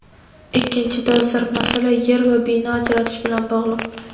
Ikkinchi dolzarb masala yer va bino ajratish bilan bog‘liq.